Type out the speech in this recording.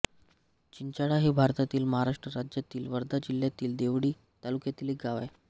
चिचाळा हे भारतातील महाराष्ट्र राज्यातील वर्धा जिल्ह्यातील देवळी तालुक्यातील एक गाव आहे